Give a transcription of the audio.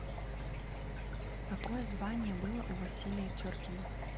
какое звание было у василия теркина